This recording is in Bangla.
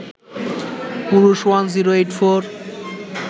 পুরুষ ১০৮৪